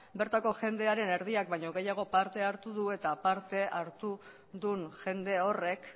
bertako jendearen erdiak baino gehiago parte hartu du eta parte hartu duen jende horrek